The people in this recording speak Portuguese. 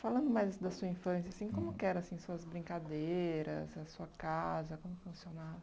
Falando mais da sua infância, assim, como que era, assim, suas brincadeiras, a sua casa, como funcionava?